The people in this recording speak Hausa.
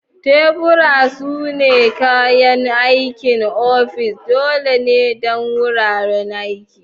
Tebura sune kayan aikin ofis dole ne don wuraren aiki.